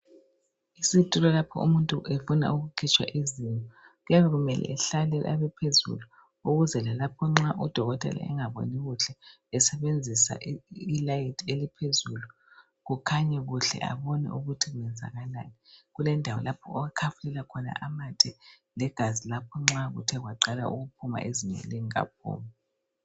Isitulo lapho umuntu efuna ukukhitshwa izinyo. Kuyabe kumele ehlale abephezulu ukuze lalapho nxa udokotela engaboni kuhle esebenzisa ilayithi eliphezulu kukhanye kuhle abone ukuthi kwenzakalani. Kulendawo lapho akhafulela khona amathe legazi lapho nxa kuthe kwaqala ukuphuma izinyo lingakaphumi.